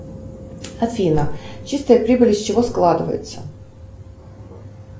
афина чистая прибыль из чего складывается